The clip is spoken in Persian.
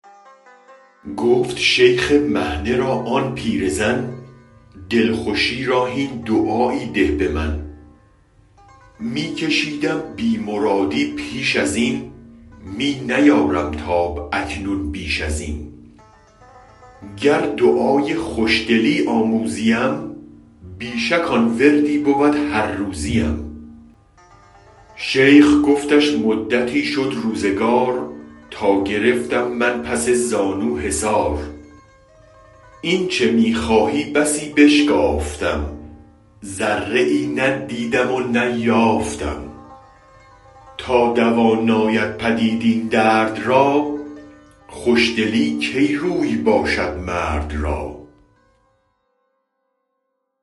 گفت شیخ مهنه را آن پیرزن دلخوشی را هین دعایی ده به من می کشیدم بی مرادی پیش ازین می نیارم تاب اکنون بیش ازین گر دعای خوش دلی آموزیم بی شک آن وردی بود هر روزیم شیخ گفتش مدتی شد روزگار تا گرفتم من پس زانو حصار اینچ می خواهی بسی بشتافتم ذره ای نه دیدم و نه یافتم تا دوا ناید پدید این درد را خوش دلی کی روی باشد مرد را